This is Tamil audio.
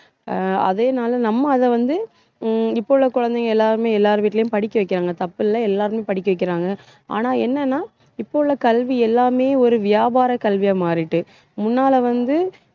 அதேனால நம்ம அதை வந்து, ஹம் இப்ப உள்ள குழந்தைங்க எல்லாருமே எல்லார் வீட்டுலயும் படிக்க வைக்கிறாங்க தப்பில்ல எல்லாருமே படிக்க வைக்கிறாங்க ஆனா என்னன்னா இப்ப உள்ள கல்வி எல்லாமே ஒரு வியாபார கல்வியா மாறிட்டு முன்னால வந்து